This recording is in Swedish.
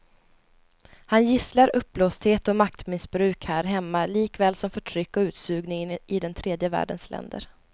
Han gisslar uppblåsthet och maktmissbruk här hemma likaväl som förtryck och utsugning i den tredje världens länder.